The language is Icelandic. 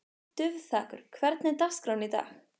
Dufþakur, hvernig er dagskráin í dag?